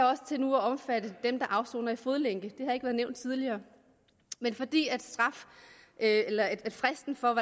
også til at omfatte dem der afsoner i fodlænke det har ikke været nævnt tidligere men fordi fristen for